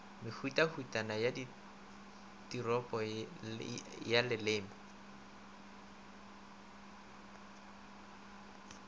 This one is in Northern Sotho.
mehutahutana ya tiripo ya leleme